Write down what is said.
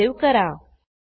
file save करा